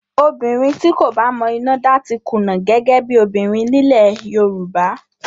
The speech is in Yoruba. Obìnrin tí kò bá mọ iná dá ti kùnà gẹ́gẹ́ bí obìnrin nílẹ̀ Yorùbá